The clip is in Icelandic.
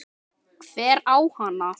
Hver á hana?